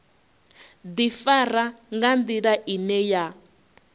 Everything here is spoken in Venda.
ḓifara nga nḓila ine ya